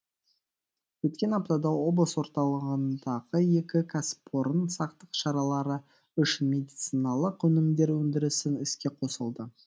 өткен аптада облыс орталығындағы екі кәсіпорын сақтық шаралары үшін медициналық өнімдер өндірісін іске қосылды